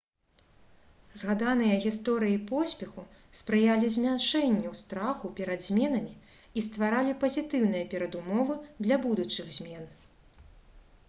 згаданыя гісторыі поспеху спрыялі змяншэнню страху перад зменамі і стваралі пазітыўныя перадумовы для будучых змен